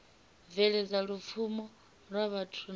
bveledza lupfumo lwa vhathu na